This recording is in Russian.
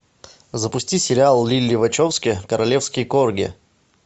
запусти сериал лили вачовски королевский корги